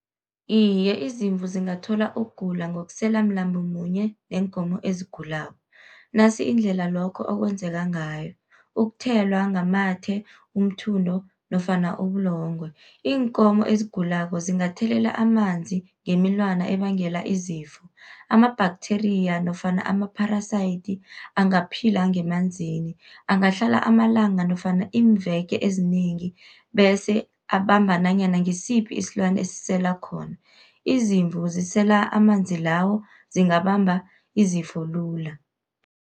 Iye, izimvu zingathola ukugula ngokusela mlambo munye neenkomo ezigulako. Nasi indlela lokho okwenzeka ngayo, ukuthelwa ngamathe, umthundo nofana ubulongwe. Iinkomo ezigulako zingathelela amanzi ngemilwana ebangela izifo, ama-bacteria nofana ama-parasite angaphila ngemanzini, angahlala amalanga nofana iimveke ezinengi, bese abamba nanyana ngisiphi isilwana esisela khona. Izimvu zisela amanzi lawo, zingabamba izifo lula